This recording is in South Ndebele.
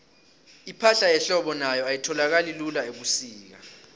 ipahla yehlobo nayo ayitholakali lula ubusika